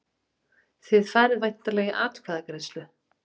Þið farið væntanlega í atkvæðagreiðslu?